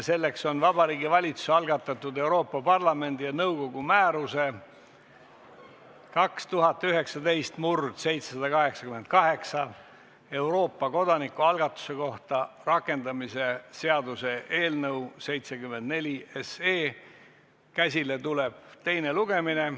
See on Vabariigi Valitsuse algatatud Euroopa Parlamendi ja nõukogu määruse 2019/788 "Euroopa kodanikualgatuse kohta" rakendamise seaduse eelnõu 74 teine lugemine.